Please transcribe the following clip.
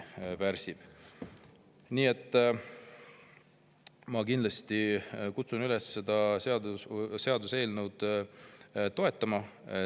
Nii et ma kindlasti kutsun üles seda seaduseelnõu toetama.